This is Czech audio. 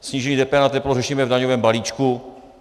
Snížení DPH na teplo řešíme v daňovém balíčku.